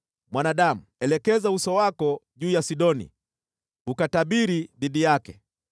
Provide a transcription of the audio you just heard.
“Mwanadamu, elekeza uso wako juu ya Sidoni, ukatabiri dhidi yake,